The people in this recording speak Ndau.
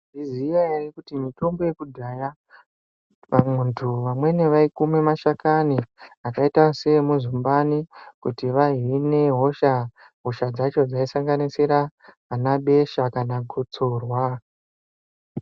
Maizviziya ere kuti mitombo yekudhaya umwe muntu vamweni vaikumba mashakani akaita seemuzumbani kuti vahine hosha. Hosha dzacho dzaisanganisira vana besha kana gotsorwa.